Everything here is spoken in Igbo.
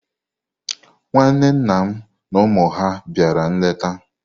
Nwanne nna m na ụmụ ya bịara nleta.